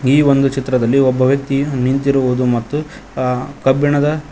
ಈ ಒಂದು ಚಿತ್ರದಲ್ಲಿ ಒಬ್ಬ ವ್ಯಕ್ತಿ ನಿಂತಿರುವುದು ಮತ್ತು ಅಹ್ ಕಬ್ಬಿಣದ --